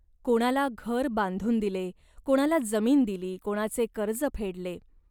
कोणाला घर बांधून दिले. कोणाला जमीन दिली.कोणाचे कर्ज फेडले.